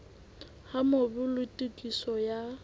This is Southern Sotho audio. ha mobu le tokiso ya